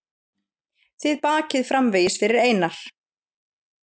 Þið bakið framvegis fyrir Einar.